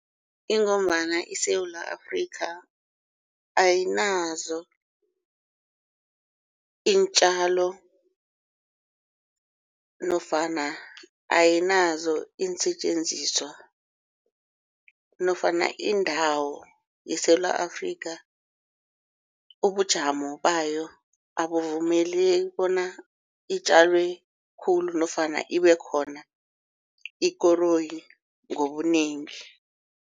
Ingombana iSewula Afrika ayinazo iintjalo nofana ayinazo iinsetjenziswa nofana indawo eSewula Afrika ubujamo bayo abuvumeleki bona itjalwe khulu nofana ibe khona ikoroyi ngobunengi.